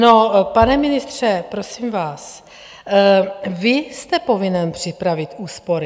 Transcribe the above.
No, pane ministře, prosím vás, vy jste povinen připravit úspory.